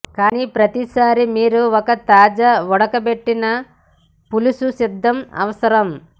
కానీ ప్రతిసారీ మీరు ఒక తాజా ఉడకబెట్టిన పులుసు సిద్ధం అవసరం